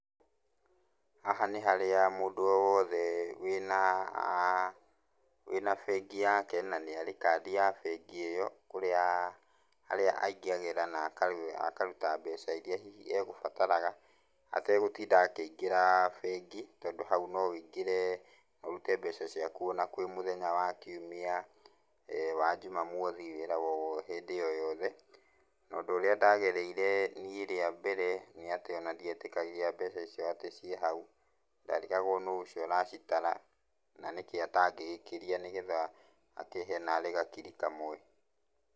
Haha nĩ harĩa mũndũ o wothe wĩna wĩna bengi yake na nĩ arĩ kandĩ ya bengi ĩyo harĩa angagĩra na akaruta mbeca ĩrĩa hihi egũbataraga ategũtinda akĩingĩra bengi tondũ hau no wĩingĩre ũrute mbeca ciaku o na kwĩ mũthenya wa kiumia, eeh wa jumamothi wĩra o hĩndĩ o yothe. Naũndũ ũrĩa ndagereire niĩ rĩa mbere nĩ atĩ o na ndĩetĩkagia mbeca icio atĩ cĩ hau, ndarigagwo no ũcio ũracitara na nĩkĩ atangĩgĩkĩria nĩgetha akĩhe narĩ gakiri kamwe.